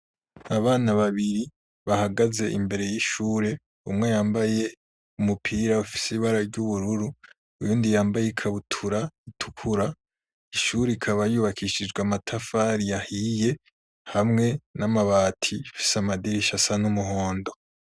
Abana babiri bahagaze imbere y'ishure umwe yambaye umupira ufise ibara ry'ubururu uyundi yambaye ikabutura itukura, ishure ikaba yubakishijwe amatafari yahiye hamwe n'amabati, ifise amadirisha asa n'umuhondo.